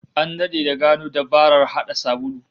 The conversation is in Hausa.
An dade da gano dabarar hada sabulu